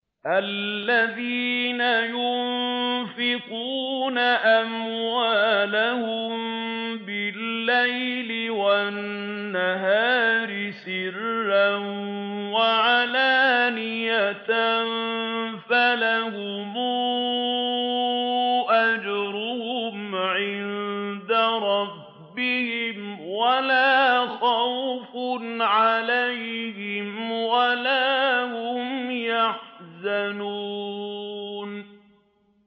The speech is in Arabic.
الَّذِينَ يُنفِقُونَ أَمْوَالَهُم بِاللَّيْلِ وَالنَّهَارِ سِرًّا وَعَلَانِيَةً فَلَهُمْ أَجْرُهُمْ عِندَ رَبِّهِمْ وَلَا خَوْفٌ عَلَيْهِمْ وَلَا هُمْ يَحْزَنُونَ